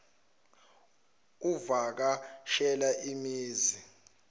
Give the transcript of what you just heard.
uvaka shela imizi